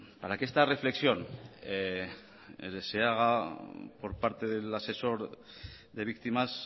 para que esta reflexión se haga por parte del asesor de víctimas